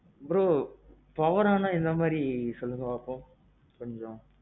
bro. powerனா எந்த மாறி சொல்லுங்க பாப்போம்?